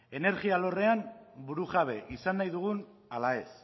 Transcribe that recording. energi alorrean burujabe izan nahi dugun ala ez